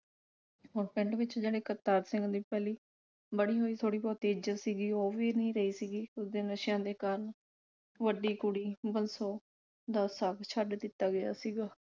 ਹੁਣ ਪਿੰਡ ਵਿਚ ਜਿਹੜੇ ਕਰਤਾਰ ਸਿੰਘ ਦੀ ਪਹਿਲੀ ਬਣੀ ਹੋਈ ਥੋੜੀ ਬਹੁਤੀ ਇੱਜਤ ਸੀਗੀ ਉਹ ਵੀ ਨਹੀ ਰਹੀ ਸੀਗੀ ਉਸਦੇ ਨਸ਼ਿਆਂ ਦੇ ਕਾਰਨ। ਵੱਡੀ ਕੁੜੀ ਬੰਸੋ ਦਾ ਸਾਕ ਛੱਡ ਦਿੱਤਾ ਗਿਆ ਸੀਗਾ